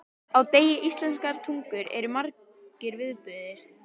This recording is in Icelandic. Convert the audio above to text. Á degi íslenskrar tungu eru margir viðburðir.